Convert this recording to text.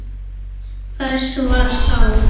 Hver var sá?